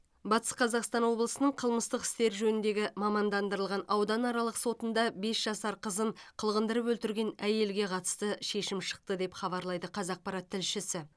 батыс қазақстан облысының қылмыстық істер жөніндегі мамандандырылған ауданаралық сотында бес жасар қызын қылғындырып өлтірген әйелге қатысты шешім шықты деп хабарлайды қазақпарат тілшісі